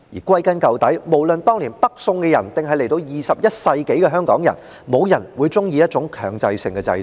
歸根究底，無論是當年的北宋，還是及至21世紀的香港，都沒有人會喜歡強制性的制度。